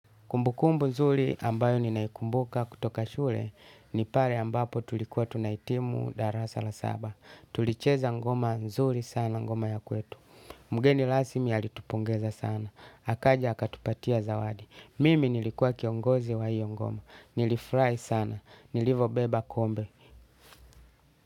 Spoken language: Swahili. Kumbukumbu nzuri ambayo ninaikumbuka kutoka shule ni pale ambapo tulikuwa tunahitimu darasa la saba. Tulicheza ngoma nzuri sana ngoma ya kwetu. Mgeni rasmi alitupongeza sana. Akaja akatupatia zawadi. Mimi nilikuwa kiongozi wa hiyo ngoma. Nilifurahi sana nilivyobeba kombe.